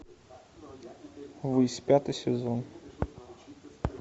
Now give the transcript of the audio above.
высь пятый сезон